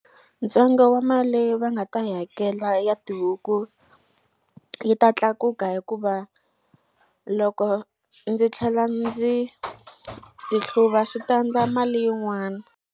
Ntsengo wa mali leyi va nga ta yi hakela ya tihuku yi ta tlakuka hikuva loko ndzi tlhela ndzi ti hluva swi ta ndla mali yin'wana.